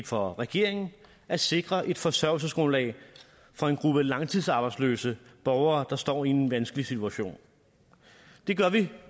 for regeringen at sikre et forsørgelsesgrundlag for en gruppe langtidsarbejdsløse borgere der står i en vanskelig situation det gør vi